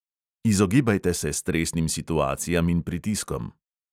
Izogibajte se stresnim situacijam in pritiskom.